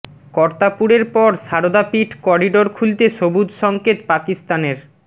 কর্তারপুরের পর সারদা পীঠ করিডোর খুলতে সুবজ সঙ্কেত পাকিস্তানের